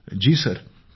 मंजूर जी जी सर